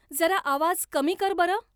जरा आवाज कमी कर बरं